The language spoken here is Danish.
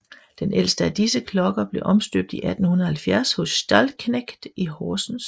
Den ældste af disse klokker blev omstøbt i 1870 hos Stallknecht i Horsens